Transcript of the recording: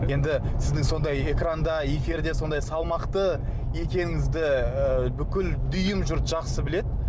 енді сіздің сондай экранда эфирде сондай салмақты екеніңізді і бүкіл дүйім жұрт жақсы біледі